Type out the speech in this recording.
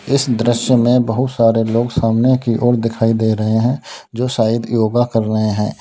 इस दृश्य में बहुत सारे लोग सामने की ओर दिखाई दे रहे हैं जो शायद योगा कर रहे हैं।